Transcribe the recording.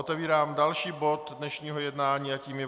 Otevírám další bod dnešního jednání a tím je